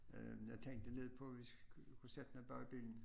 Øh jeg tænkte nede på vi kunne sætte noget bag bilen